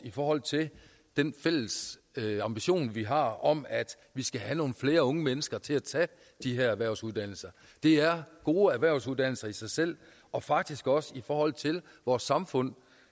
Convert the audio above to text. i forhold til den fælles ambition vi har om at vi skal have nogle flere unge mennesker til at tage de her erhvervsuddannelser det er gode erhvervsuddannelser i sig selv og faktisk også set i forhold til vores samfund